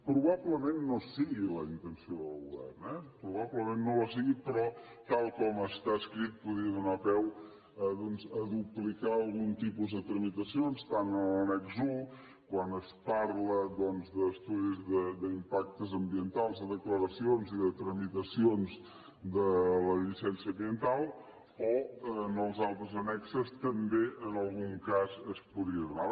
probablement no sigui la intenció del govern eh probablement no ho sigui però tal com està escrit podria donar peu a duplicar algun tipus de tramitacions tant a l’annex un quan es parla doncs d’estudis d’impacte ambiental de declaracions i de tramitacions de la llicència ambiental o en els altres annexos també en algun cas es podria donar